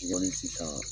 sisan